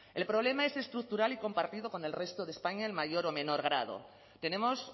el problema es estructural y compartido con el resto de españa en mayor o menor grado tenemos